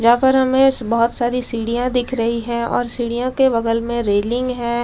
जहां पर हमें बहुत सारी सीढ़ियां दिख रही है और सीढ़ियों के बगल में रेलिंग है।